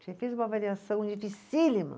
Você fez uma avaliação dificílima.